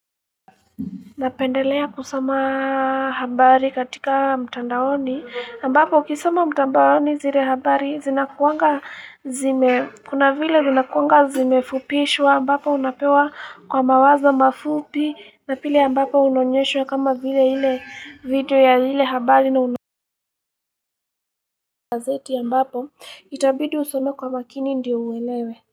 Napendelea kusoma habari katika mtandaoni ambapo ukisoma mtandaoni zile habari zinakuanga zime kuna vile zinakuanga zimefupishwa ambapo unapewa kwa mawazo mafupi na pili ambapo unaonyeshwa kama vile video ya lile habari na unaonyeshwa gazeti ambapo itabidi usome kwa makini ndiyo uelewe.